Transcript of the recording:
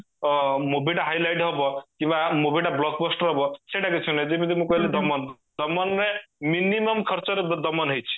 movie ଟା high light ହବ ସେଇଟା କିଛି ନାହି ଯେମିତି ମୁଁ କହିଲି ଦମନ ଦମନରେ minimum ଖର୍ଚରେ ଦମନ ହେଇଚି